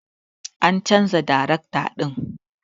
An chanza darekta din.